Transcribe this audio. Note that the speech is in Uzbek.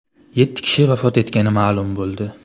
Yetti kishi vafot etgani ma’lum bo‘ldi.